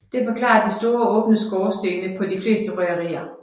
Det forklarer de store åbne skorstene på de fleste røgerier